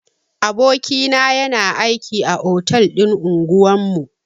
Aboki na yana aiki a otal din unguwan mu.